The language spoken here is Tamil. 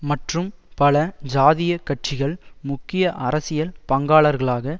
மற்றும் பல ஜாதியக் கட்சிகள் முக்கிய அரசியல் பங்காளர்களாக